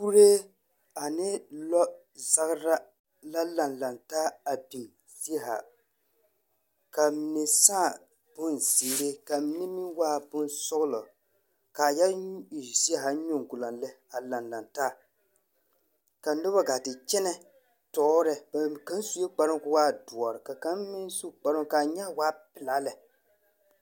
Kuree ane lɔɔzagera la laŋ laŋ taa a di zie haa. K a a mine sᾱᾱ bonzeere, ka a mine meŋ waa bonsɔglɔ, ka a yɔ e zie haa nyoŋgoloŋ lɛ laŋ laŋ taa. Ka noba gaa te kyɛnɛ tɔɔr lɛ, kaŋ sue kparoo koo waa doɔre ka kaŋ meŋ su a kparoo ka a nyaa waa pelaa lɛ.